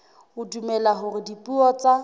o dumela hore dipuo tsa